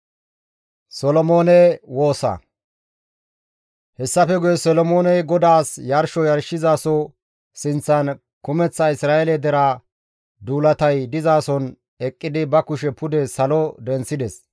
Hessafe guye Solomooney GODAAS yarsho yarshizaso sinththan kumeththa Isra7eele deraa duulatay dizason eqqidi ba kushe pude salo denththides;